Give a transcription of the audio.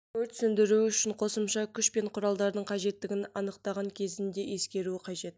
өрт сөндіру үшін қосымша күш пен құралдардың қажеттігін анықтаған кезінде ескеруі қажет